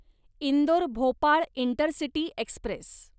Indore Bhopal intercity Express